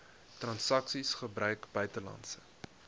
transaksies gebruik buitelandse